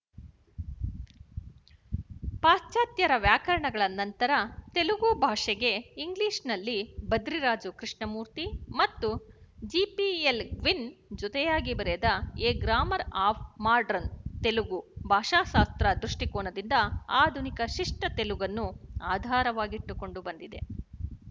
ಪಾಶ್ಚಾತ್ಯರ ವ್ಯಾಕರಣಗಳ ನಂತರ ತೆಲುಗು ಭಾಷೆಗೆ ಇಂಗ್ಲಿಶ‍ನಲ್ಲಿ ಭದ್ರಿರಾಜು ಕೃಶ್ಣಮೂರ್ತಿ ಮತ್ತು ಜೆಪಿಎಲ್ ಗ್ವಿನ್ ಜೊತೆಯಾಗಿ ಬರೆದ a grammar of modern Telugu ಭಾಷಾಶಾಸ್ತ್ರ ದೃಷ್ಟಿಕೋನದಿಂದ ಆಧುನಿಕ ಶಿಷ್ಟ ತೆಲುಗನ್ನು ಆಧಾರವಾಗಿಟ್ಟುಕೊಂಡು ಬಂದಿದೆ